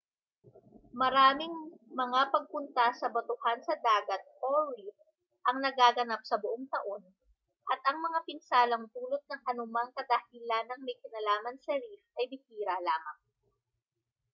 maraming mga pagpunta sa batuhan sa dagat reef ang nagaganap sa buong taon at ang mga pinsalang dulot ng anumang kadahilanang may kinalaman sa reef ay bihira lamang